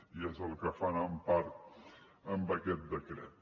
i és el que fan en part amb aquest decret